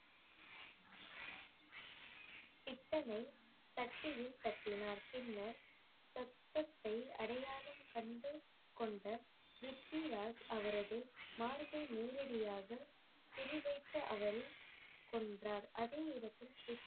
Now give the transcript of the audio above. பித்தளை தட்டியில் தட்டினார். பின்னர் சத்தத்தை அடையாளம் கண்டு கொண்ட ப்ரித்விராஜ் அவரது மார்பை நேரடியாக குறி வைத்து அவரை கொன்றார். அதை இடத்திற்க்கு